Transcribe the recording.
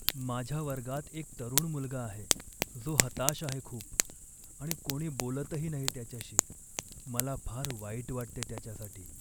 माझ्या वर्गात एक तरुण मुलगा आहे जो हताश आहे खूप आणि कोणी बोलतही नाही त्याच्याशी. मला फार वाईट वाटते त्याच्यासाठी.